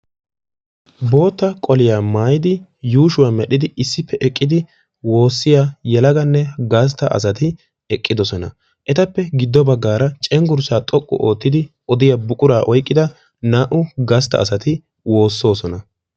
bootta qoliya maayidi issippe eqqidi yuushuwa medhidi woosiya yelaganne gasta asati eqqidosona. etappe giduwan cengursa oyqida naa'u gasta asati woosoosona.